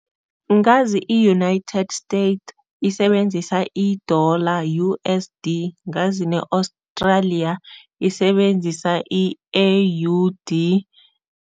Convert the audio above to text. Ngazi i-United State isebenzisa i-dollar, U_S_D ngazi ne-Australia isebenzisa i-A_U_D.